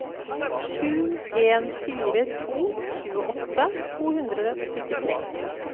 sju en fire to tjueåtte to hundre og syttitre